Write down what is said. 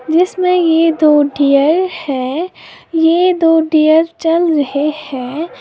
जिसमें ये दो डियर है। ये दो डियर चल रहे हैं।